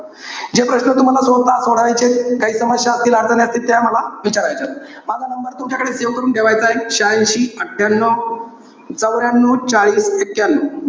जे प्रश्न तुम्हाला स्वतः सोडवायचेत, काही समस्या असतील, अडचणी असतील, त्या मला विचारायच्या. माझा number तुमच्याकडे save करून ठेवायचाय. श्यांशी अठ्ठयानव चवर्यानव चार एक्यनौ.